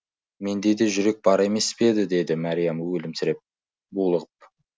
менде де жүрек бар емес пе еді деді мәриям өлімсіреп булығып